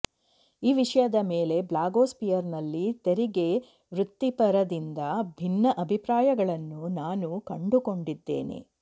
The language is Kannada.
ಈ ವಿಷಯದ ಮೇಲೆ ಬ್ಲಾಗೋಸ್ಪಿಯರ್ನಲ್ಲಿ ತೆರಿಗೆ ವೃತ್ತಿಪರರಿಂದ ಭಿನ್ನ ಅಭಿಪ್ರಾಯಗಳನ್ನು ನಾನು ಕಂಡುಕೊಂಡಿದ್ದೇನೆ